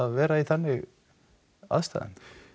vera í þannig aðstæðum